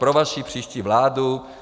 Pro vaši příští vládu.